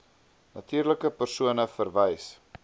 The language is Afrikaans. natuurlike persone verwys